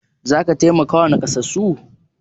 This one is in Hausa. Za ka taimakawa nakasassu?